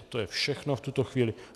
A to je všechno v tuto chvíli.